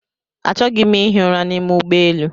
Achọghị m ihi ụra n'ime ụgbọelu